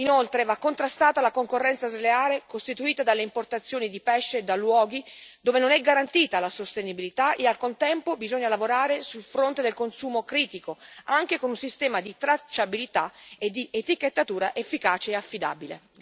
Inoltre, va contrastata la concorrenza sleale costituita dalle importazioni di pesce da luoghi dove non è garantita la sostenibilità e, al contempo, bisogna lavorare sul fronte del consumo critico, anche con un sistema di tracciabilità e di etichettatura efficace e affidabile.